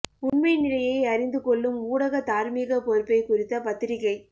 உண்மை நிலையை அறிந்து கொள்ளும் ஊடக தார்மீக பொறுப்பை குறித்த பத்திரிகை